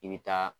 I bɛ taa